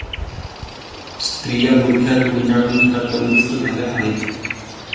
स्त्रिया बुरख्यात गुंडाळून घरात बंदिस्त झाल्या आहेत.